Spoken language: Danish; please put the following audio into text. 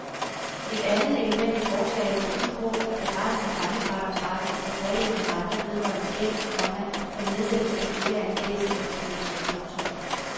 Et andet element i forslaget går ud på at begrænse rentefradragsretten for påløbne renter vedrørende gæld, komma der nedsættes som følge af en gældseftergivelse. punktum